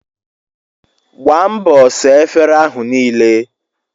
Gbaa mbọ saa efere ahụ niile!